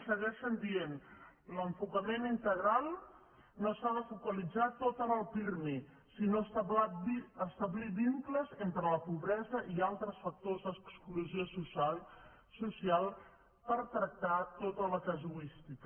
segueixen dient l’enfocament integral no s’ha de focalitzar tot en el pirmi sinó establir vincles entre la pobresa i altres factors d’exclusió social per tractar tota la casuística